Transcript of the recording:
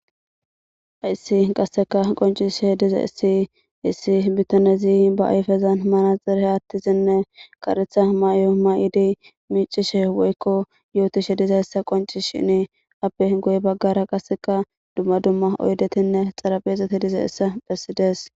hayssi qasseka qoncishe dize issi issi bittanezi ba ayfezan mana xeree attizinne karetha mayo may7idi miicishe woykko yootishe dizayssa qonci shini appe goy baggara qaseka dumma dumma oydetinne xarabeexete dize essa phessides